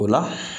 O la